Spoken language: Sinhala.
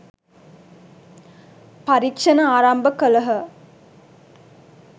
පරීක්ෂණ ආරම්භ කළහ